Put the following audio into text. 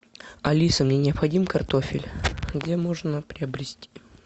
алиса мне необходим картофель где можно приобрести